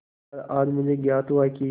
पर आज मुझे ज्ञात हुआ कि